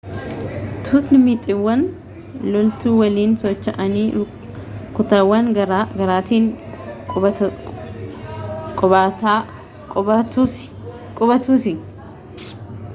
tuutni mixiiwwan loltuu waliin socho'anii kutaawwan garaa garaatiin qubatusi